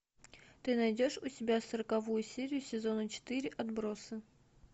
ты найдешь у себя сороковую серию сезона четыре отбросы